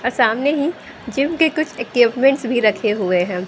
और सामने ही जिम के कुछ इक्विपमेंट्स भी रखे हुए हैं।